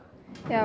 já